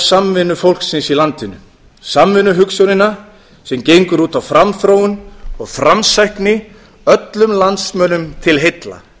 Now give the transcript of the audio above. samvinnu fólksins í landinu samvinnuhugsjónina sem gengur út á framþróun og framsækni öllum landsmönnum til heilla